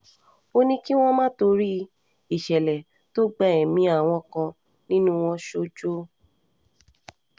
ó ní kí wọ́n má má torí ìṣẹ̀lẹ̀ tó gba ẹ̀mí àwọn kan nínú wọn sójo